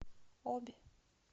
обь